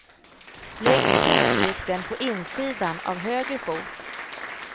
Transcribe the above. Lägg kroppsvikten på insidan av höger fot.